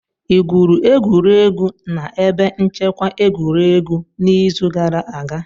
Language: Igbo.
Ị gwuru egwuregwu na ebe nchekwa egwuregwu n'izu gara aga?